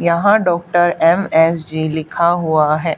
यहां doctor M S G लिखा हुआ है।